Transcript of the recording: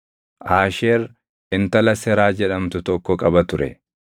Aasheer intala Seraa jedhamtu tokko qaba ture.